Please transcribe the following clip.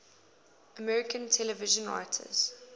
american television writers